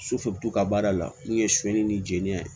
ka baara la n'u ye sonyɛli ni jeli ye